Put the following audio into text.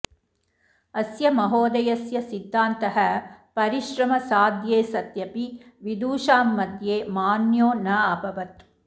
अस्य महोदयस्य सिद्धान्तः परिश्रमसाध्ये सत्यपि विदुषां मध्ये मान्यो नाभवत्